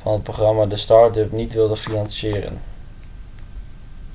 van het programma de start-up niet wilde financieren